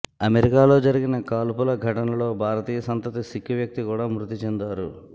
అమెరికాలో జరిగిన కాల్పుల ఘటనలో భారతీయ సంతతి సిక్కు వ్యక్తి కూడా మృతి చెందారు